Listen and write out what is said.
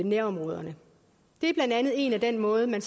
nærområderne det er en af måderne